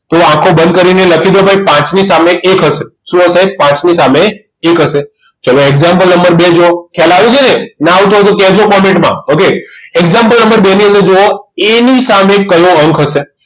તો આંખો બંધ કરીને લખી દો ભાઈ પાંચમી સામે એક હશે શું હશે પાંચની સામે એક હશે ચાલો example નંબર બે જુઓ ખ્યાલ આવે છે ને ના આવતો હતો કહેજો comment માં okay example નંબર બે ની અંદર જોવો એની સામે કયો અંક હશે